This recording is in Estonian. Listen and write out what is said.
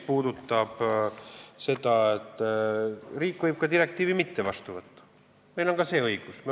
Riik võib direktiivi mitte vastu võtta, meil on ka see õigus.